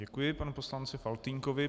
Děkuji panu poslanci Faltýnkovi.